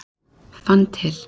Fann til.